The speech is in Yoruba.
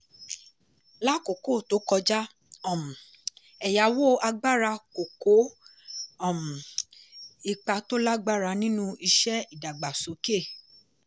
lákòókò tó kọjá um ẹ̀yàwó agbára kò kó um ipa tó lágbára nínú iṣẹ́ ìdàgbàsókè.